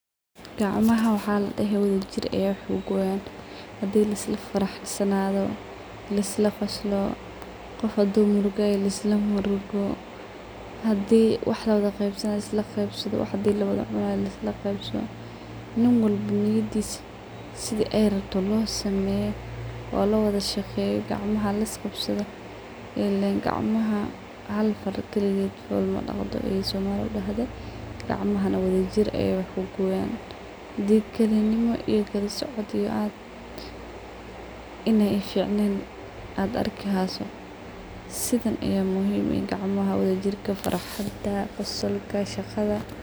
Qacamaha waxa ladehee wadha jiir aya waxa kuguwaan; xaday laaisla faraxsanadho laaisla qoslo, qoof murgo hayso laaisla murgo, hadii waxa lawadha qebsanayo laaisla qeebsadho, wax hadii lawacunayo laaisla qeebsadho niin walbo niyadiis sidhii ayy rabto loo sameyo oo lawadha shageyo qacmaha laaisqabsadho ileen qacamaha haal faar kaligeed fool madagdo aay somaliidha dahda qacmahana wadha jiir ay wax kugooyan hadii kalinimo iyo kalasocood aad inay isjecleen ad arki hyso sidhan aya muhiim eeh inay qacmaha wadajirka, faraxsantaha, qosolka, shagadha.